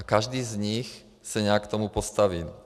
A každý z nich se nějak k tomu postaví.